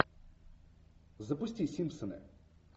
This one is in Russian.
запусти симпсоны